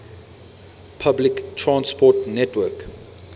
public transport network